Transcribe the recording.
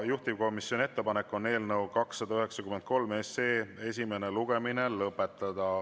Juhtivkomisjoni ettepanek on eelnõu 293 esimene lugemine lõpetada.